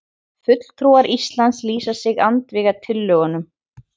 Fulltrúar Íslands lýsa sig andvíga tillögunum